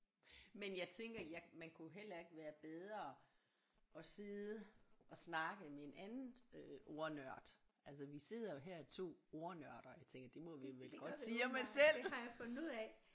Men jeg tænker jeg man kunne heller ikke være bedre at sidde og snakke med en andet øh ordnørd altså vi sidder jo her 2 ordnørder jeg tænker det må vi vel godt sige om os selv